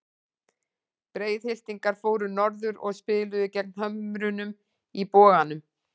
Breiðhyltingar fóru norður og spiluðu gegn Hömrunum í Boganum.